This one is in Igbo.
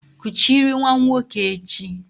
Kuchiri nwa nwoke echi!